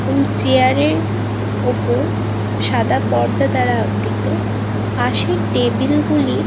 এবং চেয়ার -এর উপর সাদা পর্দা দ্বারা আবৃত। পাসে টেবিল গুলি--